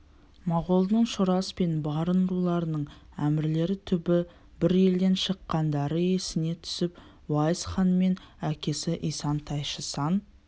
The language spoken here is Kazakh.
моғолдың шорас пен барын руларының әмірлері түбі бір елден шыққандары есіне түсіп уайс хан мен әкесі исан-тайшы сан